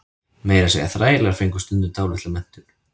meira að segja þrælar fengu stundum dálitla menntun